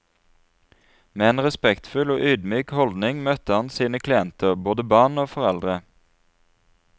Med en respektfull og ydmyk holdning møtte han sine klienter, både barn og foreldre.